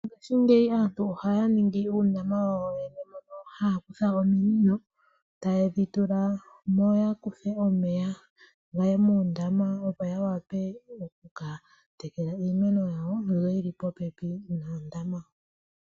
Mongaashingeyi aantu ohaya ningi uundama wawo yoyene mono haya kutha ominino tayedhi tulamo yakuthe gaye moondama, opo yawape okuka tekela iimeno yawo mbyono yili popepi mondama.